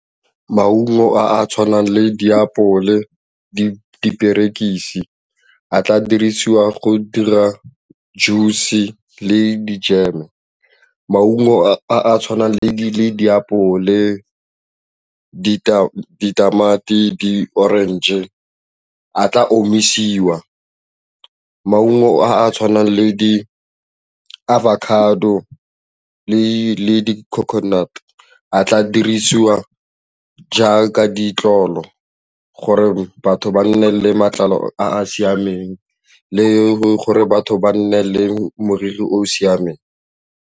Maungo a a tshwanang le diapole, diperekisi a tla dirisiwa go dira juice-e le dijeme. Maungo a a tshwanang le diapole, ditamati, di-orange-e a tla omisiwa. Maungo a a tshwanang le di-avocado le coconut-e a tla dirisiwa jaaka ditlolo gore batho ba nne le matlalo a siameng le gore batho ba nne le moriri o o siameng.